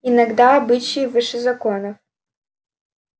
иногда обычаи выше закона